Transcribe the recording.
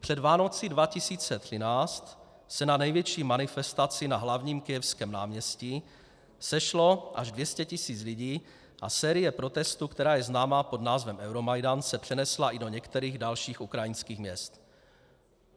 Před Vánocemi 2013 se na největší manifestaci na hlavním kyjevském náměstí sešlo až 200 tisíc lidí a série protestů, která je známá pod názvem Euromajdan, se přenesla i do některých dalších ukrajinských měst.